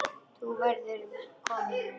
Þú verður kominn vinur.